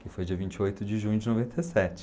que foi dia vinte e oito de junho de noventa e sete.